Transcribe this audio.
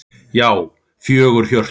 Já, fjögur HJÖRTU!